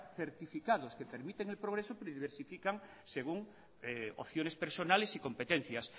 certificados que permiten el progreso pero diversifican según opciones personales y competencias